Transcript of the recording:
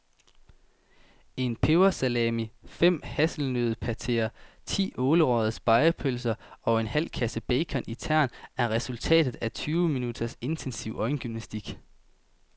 En pebersalami, fem hasselnøddepateer, ti ålerøgede spegepølser og en halv kasse bacon i tern er resultatet af tyve minutters intensiv øjengymnastik.